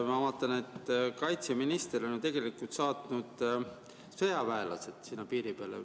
Ma vaatan, et kaitseminister on saatnud sõjaväelased sinna piiri peale.